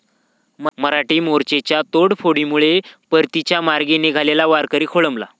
मराठा मोर्चाच्या तोडफोडीमुळे परतीच्या मार्गी निघालेला वारकरी खोळंबला